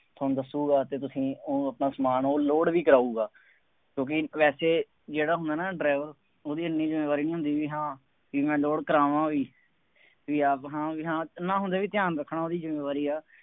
ਤੁਹਾਨੂੰ ਦੱਸੂਗਾ ਕਿ ਤੁਸੀਂ ਊਂ ਆਪਣਾ ਸਮਾਨ ਉਹ load ਵੀ ਕਰਾਊਗਾ, ਕਿਉਂਕਿ ਵੈਸੇ ਜਿਹੜਾ ਹੁੰਦਾ ਨਾ driver ਉਹਦੀ ਐਨੀ ਜ਼ਿੰਮੇਵਾਰੀ ਨਹੀਂ ਹੁੰਦੀ ਬਈ ਹਾਂ ਬਈ ਮੈਂ load ਕਰਾਵਾਂ ਵੀ ਬਈ ਆਪ ਹਾਂ ਵੀ ਹਾਂ ਹੁੰਦੇ ਵੀ ਧਿਆਨ ਰੱਖਣਾ ਉਹਦੀ ਜ਼ਿੰਮੇਵਾਰੀ ਹੈ।